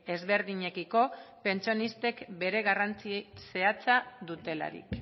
ezberdinekiko pentsionistek bere garrantzi zehatza dutelarik